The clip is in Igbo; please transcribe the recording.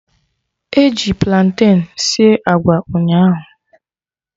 Eji platen sie agwa ụnyaahụ